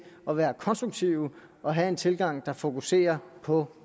at være konstruktive og have en tilgang der fokuserer på